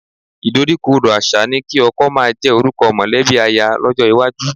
Ìdoríkodò àṣà ni kí ọkọ máa jẹ́ orúkọ mọ̀lẹ́bí aya lọ́jọ́ iwájú